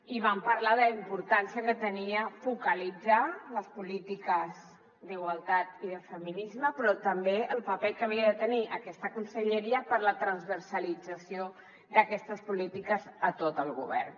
i vam parlar de la importància que tenia focalitzar les polítiques d’igualtat i de feminisme però també del paper que havia de tenir aquesta conselleria per a la transversalització d’aquestes polítiques a tot el govern